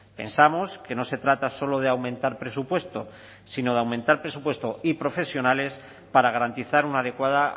pensamos que no se trata solo de aumentar presupuesto sino de aumentar presupuesto y profesionales para garantizar una adecuada